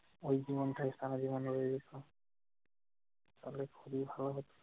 ঐ জীবনটাই সারা জীবন রয়ে যেত, তাহলে খুবই ভালো হতো।